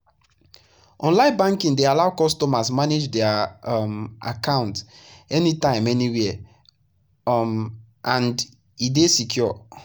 online banking dey allow customers manage their um account anytime anywhere um and e dey secure.